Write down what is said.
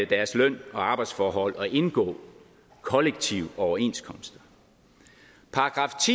deres løn og arbejdsforhold og indgå kollektive overenskomster §